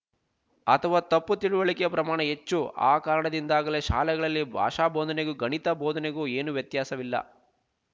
ಅಥವಾ ತಪ್ಪು ತಿಳುವಳಿಕೆ ಪ್ರಮಾಣ ಹೆಚ್ಚು ಆ ಕಾರಣದಿಂದಾಗಲೇ ಶಾಲೆಗಳಲ್ಲಿ ಭಾಷಾ ಬೋಧನೆಗೂ ಗಣಿತ ಬೋಧನೆಗೂ ಏನು ವ್ಯತ್ಯಾಸವಿಲ್ಲ